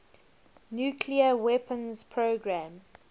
nuclear weapons program